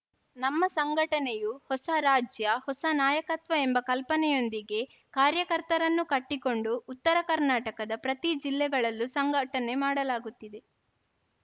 ನಮ್ಮ ಸಂಘಟನೆಯು ಹೊಸ ರಾಜ್ಯ ಹೊಸ ನಾಯಕತ್ವ ಎಂಬ ಕಲ್ಪನೆಯೊಂದಿಗೆ ಕಾರ್ಯಕರ್ತರನ್ನು ಕಟ್ಟಿಕೊಂಡು ಉತ್ತರ ಕರ್ನಾಟಕದ ಪ್ರತಿ ಜಿಲ್ಲೆಗಳಲ್ಲೂ ಸಂಘಟನೆ ಮಾಡಲಾಗುತ್ತಿದೆ